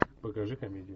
покажи комедию